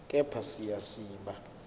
kepha siya siba